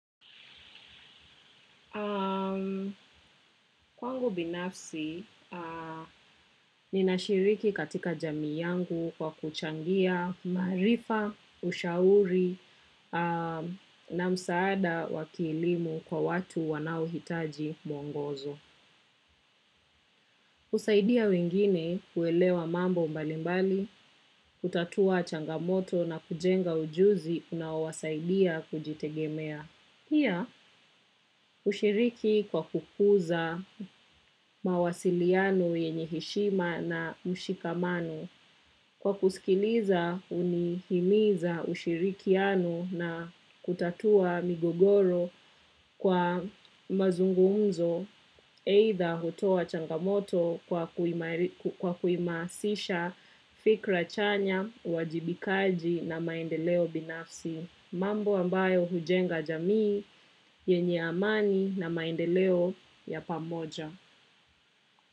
Kwangu binafsi, ninashiriki katika jamii yangu kwa kuchangia, maarifa, ushauri, na msaada wa kielimu kwa watu wanaohitaji mwongozo. Usaidia wengine kuelewa mambo mbalimbali, kutatua changamoto na kujenga ujuzi, unaowasaidia kujitegemea. Pia ushiriki kwa kukuza mawasiliano yenye heshima na mshikamanu. Kwa kusikiliza hunihimiza ushirikiano na kutatua migogoro kwa mazungumzo eitha hutoa changamoto kwa kuima kwa kuimasisha fikra chanya, uwajibikaji na maendeleo binafsi. Mambo ambayo hujenga jamii, yenye amani na maendeleo ya pamoja.